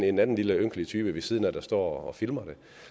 en anden lille ynkelig type ved siden af der står og filmer det